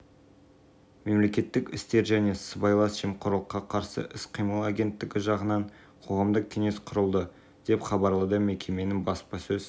жылы стадиондағы технологияларға күн батареяларын салған еді дәл сол жылы команда бұрынғы формасының түсін жасыл